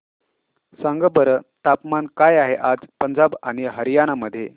सांगा बरं तापमान काय आहे आज पंजाब आणि हरयाणा मध्ये